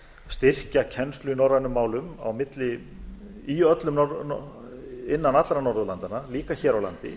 styrkja kennslu í norrænum málum innan allra norðurlandanna líka hér á landi